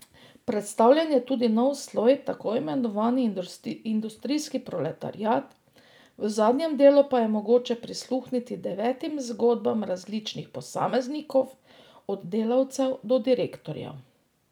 Predstavljen je tudi nov sloj tako imenovani industrijski proletariat, v zadnjem delu pa je mogoče prisluhniti devetim zgodbam različnih posameznikom, od delavcem do direktorjev.